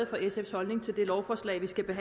for sfs holdning til det lovforslag vi skal